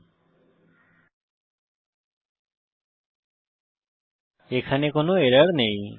আমরা দেখি যে এখানে কোনো এরর নেই